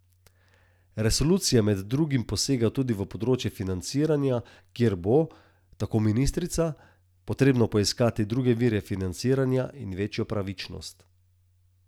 Resolucija med drugim posega tudi v področje financiranja, kjer bo, tako ministrica, potrebno poiskati druge vire financiranja in večjo pravičnost.